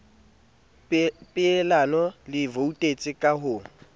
poelano le voutetse ka ho